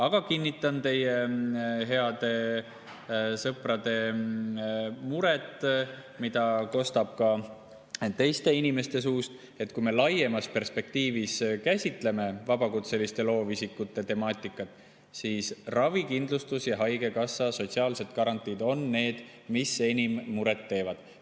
Aga kinnitan teie heade sõprade muret, mida kostab ka teiste inimeste suust, et kui me laiemas perspektiivis käsitleme vabakutseliste loovisikute temaatikat, siis ravikindlustus ja haigekassa, üldse sotsiaalsed garantiid on need, mis enim muret teevad.